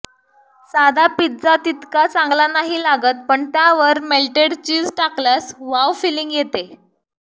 साधा पिझ्झा तितका चांगला नाही लागत पण त्यावर मेल्टेड चीज टाकल्यास वॉव फिलींग येते